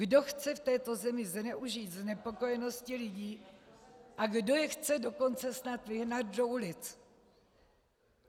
Kdo chce v této zemi zneužít znepokojenosti lidí a kdo je chce dokonce snad vyhnat do ulic?